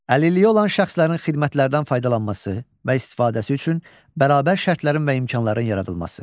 Əlilliyi olan şəxslərin xidmətlərdən faydalanması və istifadəsi üçün bərabər şərtlərin və imkanların yaradılması.